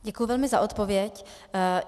Děkuji velmi za odpověď.